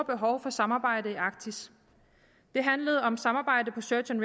behov for samarbejde i arktis det handlede om samarbejde på search and